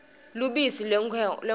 lubisi lwenkhomo